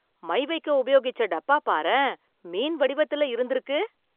My வைக்க உபயோகிச்ச டப்பா பாரேன், மீன் வடிவத்துல இருந்துருக்கு.